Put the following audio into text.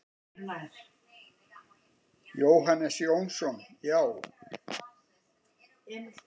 Jóhannes Jónsson: Já.